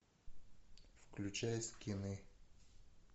включай скины